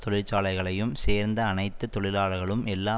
தொழிற்சாலைகளையும் சேர்ந்த அனைத்து தொழிலாளர்களும் எல்லா